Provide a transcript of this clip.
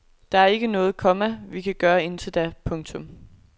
Der er ikke noget, komma vi kan gøre indtil da. punktum